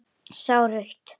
Sá rautt.